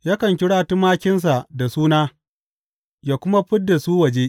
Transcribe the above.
Yakan kira tumakinsa da suna, yă kuma fid da su waje.